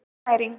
Betri næring